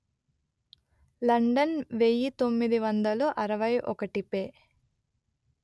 London వెయ్యి తొమ్మిది వందలు అరవై ఒకటి పే